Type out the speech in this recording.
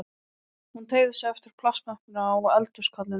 Hún teygði sig eftir plastmöppunni á eldhúskollinum.